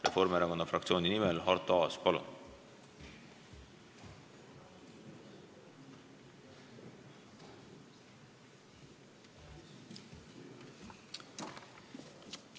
Reformierakonna fraktsiooni nimel Arto Aas, palun!